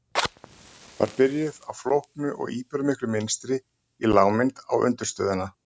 Var byrjuð á flóknu og íburðarmiklu mynstri í lágmynd á undirstöðuna.